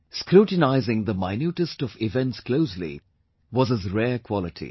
Scrutinizing the minutest of events closely was his rare quality